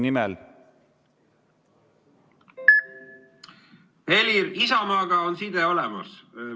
Helir, Isamaaga on side olemas.